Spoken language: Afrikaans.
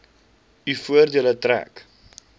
u voordeel trek